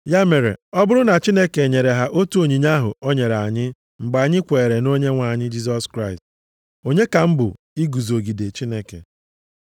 Ya mere, ọ bụrụ na Chineke nyere ha otu onyinye ahụ o nyere anyị mgbe anyị kweere nʼOnyenwe anyị Jisọs Kraịst, onye ka m bụ iguzogide Chineke?”